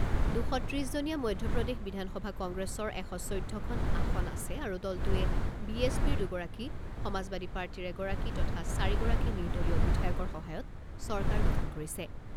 দুশ ত্ৰিছ জনীয়া মধ্যপ্ৰদেশ বিধানসভাত কংগ্ৰেছৰ এশ চৈধ্যখন আসন আছে আৰু দলটোৱে বি এছ পিৰ দুগৰাকী, সমাজবাদী পাৰ্টীৰ এগৰাকী তথা চাৰিগৰাকী নিৰ্দলীয় বিধায়কৰ সহায়ত চৰকাৰ গঠন কৰিছে।